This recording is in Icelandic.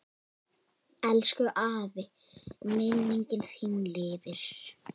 Elsku afi, minning þín lifir.